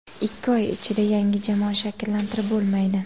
Ikki oy ichida yangi jamoa shakllantirib bo‘lmaydi.